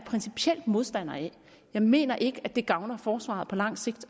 modstander af jeg mener ikke at det gavner forsvaret på lang sigt